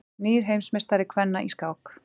Nýr heimsmeistari kvenna í skák